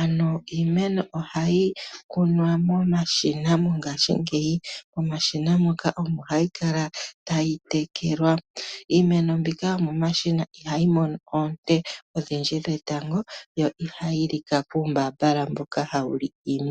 Ano iimeno oha yi kunwa momashina mongasbingeg Momashina moka omo ha yi kala ta yi tekelwa. Iimeno mbika yomomashina yi mono oonte odhindji dhetango, yo iha yi lika kuumbaambala mboka ha wu li iimeno.